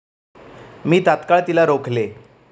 मी तात्काळ तिला रोखले.